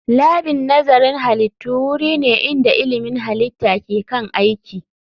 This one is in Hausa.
Labin nazarin halittu wuri ne inda ilmin halitta ke kan aiki